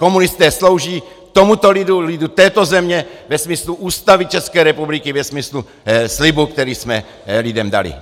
Komunisté slouží tomuto lidu, lidu této země ve smyslu Ústavy České republiky, ve smyslu slibu, který jsme lidem dali!